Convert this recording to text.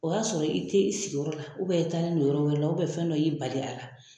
O y'a sɔrɔ i te isigiyɔrɔ la u bɛn i taa ni no yɔrɔ wɛrɛ la u bɛn fɛn dɔ y' i bali a la